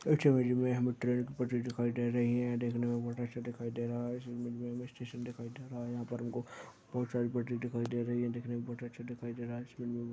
इस इमेज मे हमें ट्रेन की पटरी दिखाई दे रही है देखने में बहुत अच्छा दिखायी दे रहा है इस इमेज में हमें स्टेशन दिखायी दे रहा है यहाँ पर हमको बहुत सारी पटरी दिखायी दे रही है देखने में बहुत अच्छा दिखायी दे रहा हैं। --